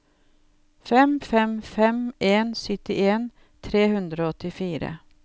fem fem fem en syttien tre hundre og åttifire